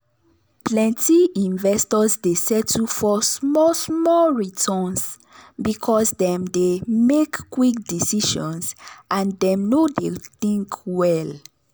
plenti investors dey settle for small small returns because dem dey make quick decisions and dem no dey think well.